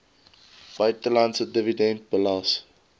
buitelandse dividend belas